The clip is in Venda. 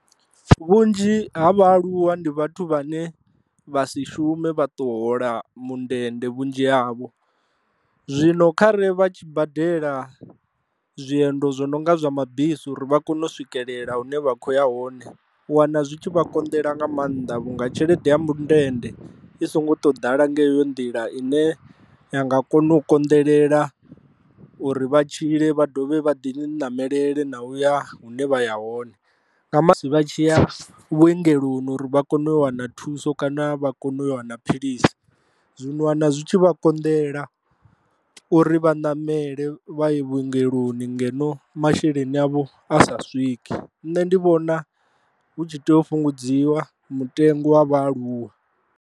Vhunzhi ha vhaaluwa ndi vhathu vhane vha si shume vha ṱo hola mundende vhunzhi havho, zwino khare vha tshi badela zwiendo zwo no nga zwa mabisi uri vha kone u swikelela hune vha kho ya hone u wana zwi tshi vha konḓela nga maanḓa vhunga tshelede ya mundende i songo tou ḓala nga heyo nḓila ine ya nga kona u konḓelela uri vha tshile vha dovhe vha ḓi ṋamelele na u ya hune vha ya hone, na musi vha tshi ya vhuongeloni uri vha kone u wana thuso kana vha kone u wana philisi, zwino u wana zwi tshi vha konḓela uri vha ṋamele vha i vhuongeloni ngeno masheleni avho a sa swiki nṋe ndi vhona hu tshi tea u fhungudziwa mutengo wa vhaaluwa.